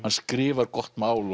hann skrifar gott mál